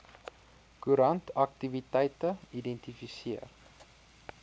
koerant aktiwiteite identifiseer